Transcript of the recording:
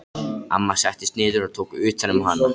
Amma settist niður og tók utan um hana.